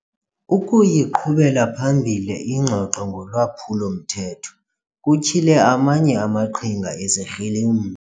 Ukuyiqhubela phambili ingxoxo ngolwaphulo-mthetho kutyhile amanye amaqhinga ezikrelem.